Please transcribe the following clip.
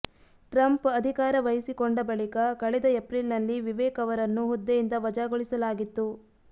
Trump ಅಧಿಕಾರ ವಹಿಸಿಕೊಂಡ ಬಳಿಕ ಕಳೆದ ಏಪ್ರಿಲ್ನಲ್ಲಿ ವಿವೇಕ್ ಅವರನ್ನು ಹುದ್ದೆಯಿಂದ ವಜಾಗೊಳಿಸ ಲಾಗಿತ್ತು